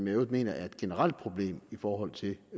øvrigt er et generelt problem i forhold til